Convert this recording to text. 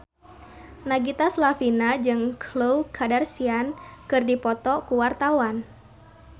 Nagita Slavina jeung Khloe Kardashian keur dipoto ku wartawan